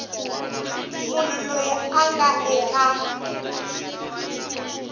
munhu loyi a nga eka